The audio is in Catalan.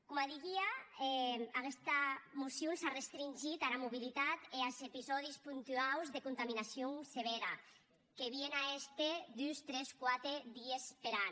coma didia aguesta mocion s’a restringit ara mobilitat e as episòdis puntuaus de contaminacions sevèra que vien a èster dus tres quate dies per an